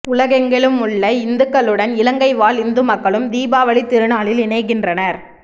உலகெங்கிலுமுள்ள இந்துக்களுடன் இலங்கை வாழ் இந்து மக்களும் தீபாவளித் திருநாளில் இணைகின்றனர்